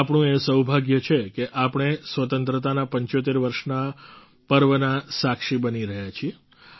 આપણું એ સૌભાગ્ય છે કે આપણે સ્વતંત્રતાનાં ૭૫ વર્ષના પર્વના સાક્ષી બની રહ્યા છીએ